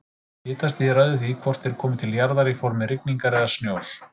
Hitastigið ræður því hvort þeir komi til jarðar í formi rigningar eða snjós.